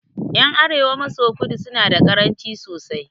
Ƴan arewa maso kudu suna da karamci sosai